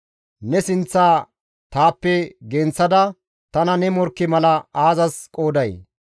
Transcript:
Ne sinththa taappe genththada tana ne morkke mala aazas qooday?